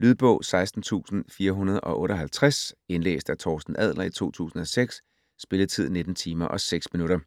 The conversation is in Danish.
Lydbog 16458 Indlæst af Torsten Adler, 2006. Spilletid: 19 timer, 6 minutter.